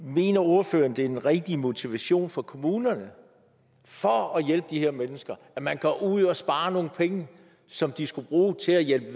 mener ordføreren det er den rigtige motivation for kommunerne for at hjælpe de her mennesker at man går ud og sparer nogle penge som de skulle bruge til at hjælpe